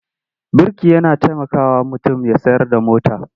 Birki yana tamakawa mutum ya tsayar da mota.